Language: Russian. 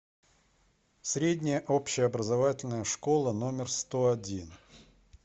средняя общеобразовательная школа номер сто один